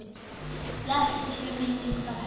Blessuð sé minning Bedda.